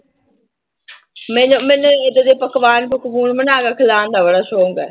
ਮੈਨੂੰ ਮੈਨੂੰ ਏਦਾਂ ਦੇ ਪਕਵਾਨ ਪਕਵੂਨ ਬਣਾ ਕੇ ਖਿਲਾਉਣ ਦਾ ਬੜਾ ਸ਼ੌਂਕ ਹੈ।